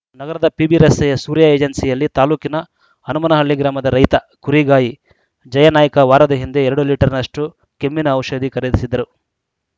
ನಗರದ ಪಿಬಿರಸ್ತೆಯ ಸೂರ್ಯ ಏಜೆನ್ಸಿಯಲ್ಲಿ ತಾಲೂಕಿನ ಹನುಮನಹಳ್ಳಿ ಗ್ರಾಮದ ರೈತ ಕುರಿಗಾಯಿ ಜಯನಾಯ್ಕ ವಾರದ ಹಿಂದೆ ಎರಡು ಲೀಟರ್‌ನಷ್ಟುಕೆಮ್ಮಿನ ಔಷಧಿ ಖರೀದಿಸಿದ್ದರು